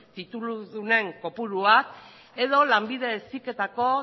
tituludunen kopuruak edo lanbide heziketako